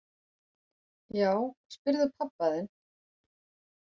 Já, spyrðu pabba þinn!